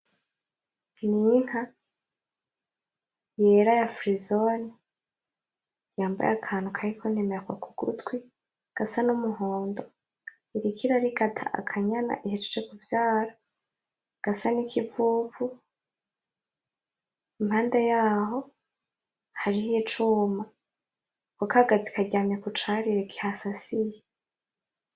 N'inka yera ya firizone, yambaye akantu kariko inomero k'ugutwi gasa n'umuhondo. Iriko irarigata akanyana ihejeje kuvyara gasa n'ikivuvu. Impande yaho hariho icuma, akokagazi karyamye kucarire kihasasiye.